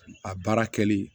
A baara kɛli